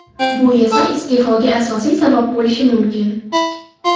Bu esa iste’foga asosiy sabab bo‘lishi mumkin.